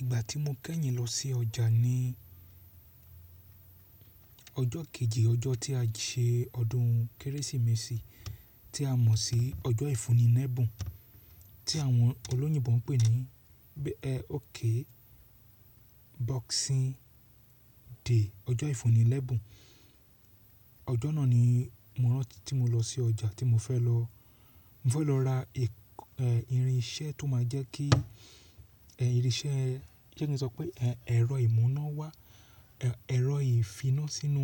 Ìgbà tí mo kẹ́yìn lọ sí ọjà ní ọjọ́ kejì ọjọ́ tí a ṣe ọdún Kérésìmesì tí a mọ̀ sí ọjọ́ ìfúnni lẹ́bùn, tí àwọn olóyìnbo ń pè ní e oke boxing day, ọjọ́ ìfúnni lẹ́bùn. Ọjọ́ náà ni mo rántí tí mo lọ sí ọjà tí mo fẹ́ lọ, mo fẹ́ lọ ra ìrìn iṣẹ́ tó máa jẹ́ kí ìrìnsẹ́, jẹ́ kí n sọ pé ẹ̀rọ ìmúná wá, ẹ̀rọ ìfiná sínú,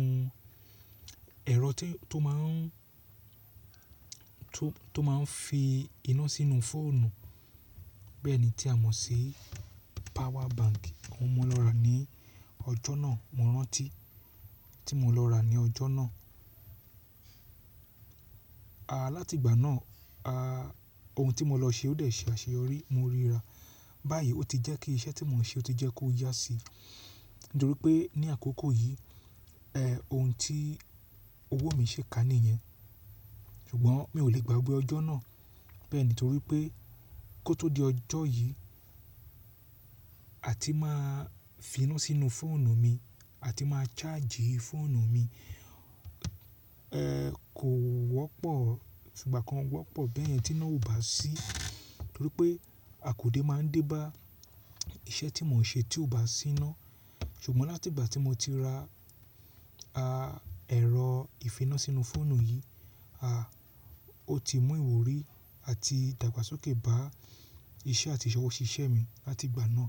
ẹ̀rọ tó máa n tó máa ń fi iná sínú fóònù bẹ́ẹ̀ ni tí a mọ̀ sí power bank. Ohun mo lọ rà ní ọjọ́ náà mo rántí tí mo lọ rà ní ọjọ́ náà. À láti ìgbà náà, ohun tí mo lọ ṣe ó dẹ̀ ṣe àṣeyọrí, mo ríra. Báyìí ó ti jẹ́ kí iṣẹ́ tí mò ń ṣe ó ti jẹ́ kó yá sí, nítorí pé ní àkókò yìí ohun tí owó mi ṣi kà níyẹn. Ṣùgbọ́n mi ò le gbàgbé ọjọ́ náà bẹ́ẹ̀ ni torí pé kó tó di ọjọ́ yìí, a ti máa finu sínú fóònù mi, a ti máa ṣáàjì fóònù mi. Kò wọ́pọ̀ ko fi ìgbà kan wọ́pọ̀ bẹ́ẹ̀ yẹn tí iná ò bá sí, nítorí pé àkódè máa ń dé bá iṣẹ́ tí mò ń ṣe tí ò bá sí iná. Ṣùgbọ́n láti ìgbà tí mo ti ra ẹ̀rọ ìfiná sínú fóònù yìí, ó ti mú ìwúrí àti ìdàgbàsókè bá iṣẹ́ àti ìṣọwọ́ ṣiṣẹ́ mi láti ìgbà náà.